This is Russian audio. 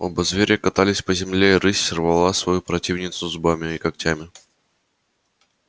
оба зверя катались по земле рысь рвала свою противницу зубами и когтями